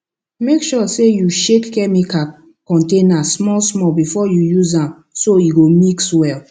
make sure say you shake chemical container small small before you use am so e go mix well